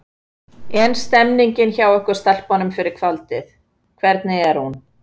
En stemningin hjá ykkur stelpunum fyrir kvöldinu, hvernig er hún?